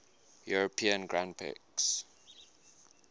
european grand prix